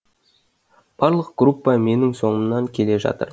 барлық группа менің соңымнан келе жатыр